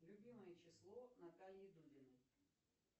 любимое число натальи дудиной